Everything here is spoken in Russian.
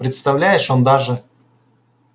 представляешь он даже